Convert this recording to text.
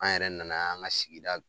An yɛrɛ nana an y'an ga sigida